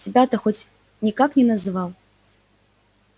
тебя-то он хоть никак не называл